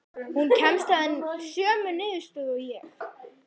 Hún kemst að sömu niðurstöðu og ég.